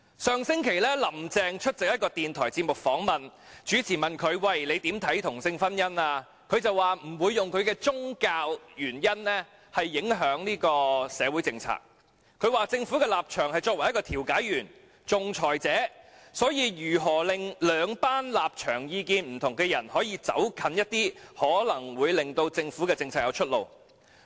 上星期，"林鄭"出席一個電台節目訪問，主持問她對同性婚姻的看法，她說她不會因宗教原因而影響社會政策，說："政府的立場是作為一個調解員、仲裁者，所以如果能令兩群立場意見不同的人可以走近一點，可能會令政府政策有出路。